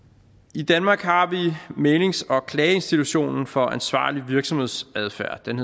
i danmark har vi mæglings og klageinstitutionen for ansvarlig virksomhedsadfærd som